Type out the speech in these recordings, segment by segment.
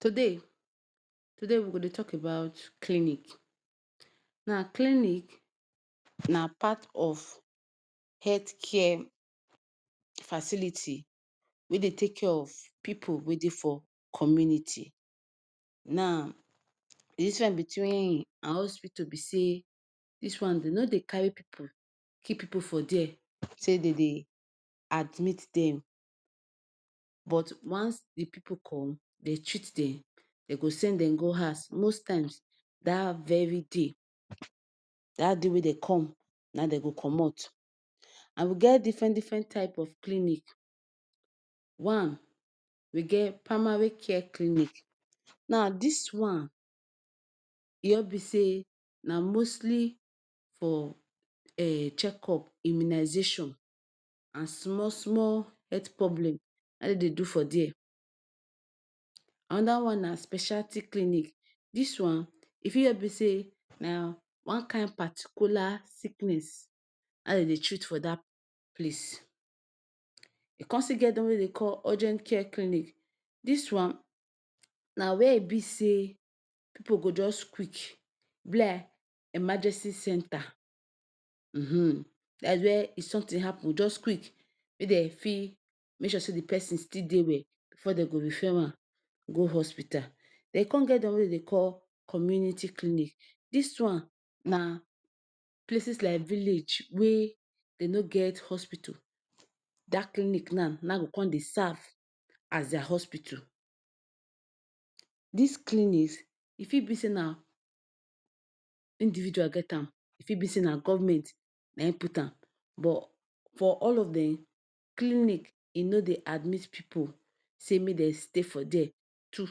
Today today we go dey tok about clinic. Na clinic na part of health care facility wey dey take care of pipu wey dey for community. Now, di diffren between em and hospital be say dis one, dem no dey carry pipu keep for dia say dem dey admit dem. But once di pipu come, dem go treat dem and dem go send dem go house most times, dat very day dat day wey dey come na him dem go comot. And we get diffren diffren types of clinics. One, we get primary care clinics. Now dis one e just be say na mostly for e check up, immunization, and small small health problem na im dem dey do for dia. Anoda one na specialist clinic. Dis one e fit just be say na one kain particular sickness na im dem dey treat for dat place. E come still get di one wey dem dey call urgent care clinic. Dis one na wia e be say pipu go just quick e be like emergency centre. um dats were if somtin happun, just quick, make dem go fit make sure say di pesin dey well bifor dem go refer am go hospital. Den we come get di one wey dem dey call community clinic. Dis one na places like village wey dem no get hospital. Dat clinic now na im go come dey serve as di hospital. Dis clinic e fit be say na individual get am, e fit be say na govment na im put am. But for all of dem, clinic e no dey admit pipu say make dem stay for dia two or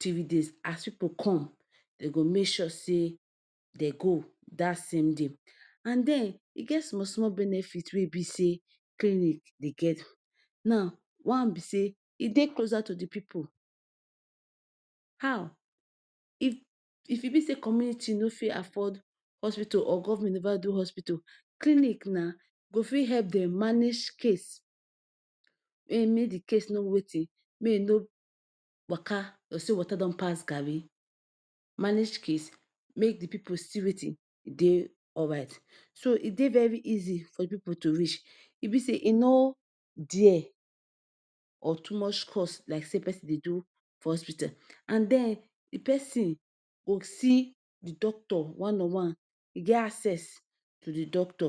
three days. As pipu come, dem go make sure say dem go dat same day. And den, e get small small benefit wey e be say clinic dey get. Now One be say e dey closer to di pipu. How? If e be say community no fit afford hospital or govment never do hospital, clinic na go fit help dem manage case um make di case no wetin make e no waka like say water don pass garri. manage case make di pipu still wetin dey alright. So e dey very easy for pipu to reach. E be say e no dea or too much cost like say pesin dey do for hospital. And den, di pesin go see di doctor one on one. E get access to di doctor.[um]